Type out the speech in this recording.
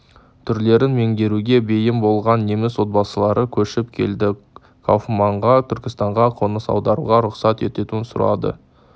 түрлерін меңгеруге бейім болған неміс отбасылары көшіп келді кауфманға түркістанға қоныс аударуға рұқсат етуін сұрады